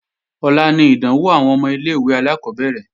Ọ̀la ni ìdánwò àwọn ọmọ ilé-ìwé alákọ́bẹ̀rẹ̀